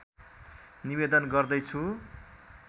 निवेदन गर्दैछु